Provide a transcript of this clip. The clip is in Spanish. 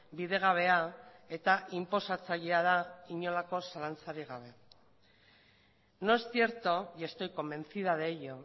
bidegabea eta inposatzailea da inolako zalantzarik gabe no es cierto y estoy convencida de ello